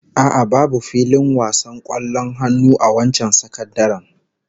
A'a, babu filin wasan kwallon hannu a wancan sakandaren